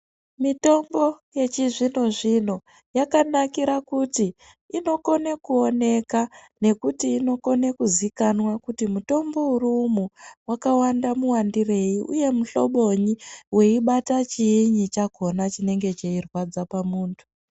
Mitombo yechizvino zvino yakanakira kuti inokona kuonekwa nekuti inokona kuzikanwa kuti mutombo uri umu wakawanda mawandirei uye muhlobonyi weibata chinyi chinenge cheirwadza pamuntu.